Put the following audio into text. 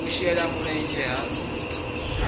u shele mulenzhe ha nha